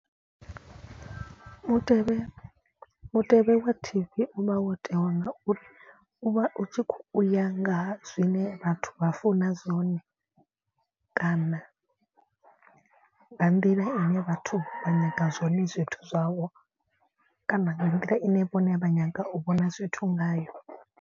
Mutevhe mutevhe wa T_V u vha wo tewa ngauri u vha u tshi kho uya ngaha zwine vhathu vha funa zwone. Kana nga nḓila ine vhathu vha nyaga zwone zwithu zwawo. Kana nga nḓila ine vhone vha nyaga u vhona zwithu ngayo.